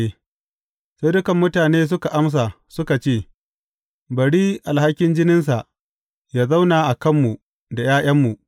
Sai dukan mutane suka amsa, suka ce, Bari alhakin jininsa yă zauna a kanmu da ’ya’yanmu!